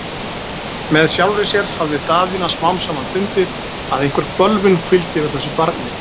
Með sjálfri sér hafði Daðína smám saman fundið, að einhver bölvun hvíldi yfir þessu barni.